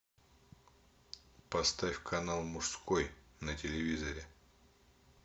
поставь канал мужской на телевизоре